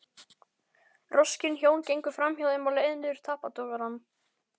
Roskin hjón gengu framhjá þeim á leið niður tappatogarann.